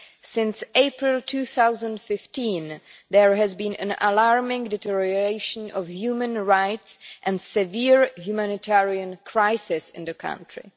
Since April 2015, there has been an alarming deterioration of human rights and a severe humanitarian crisis in the country.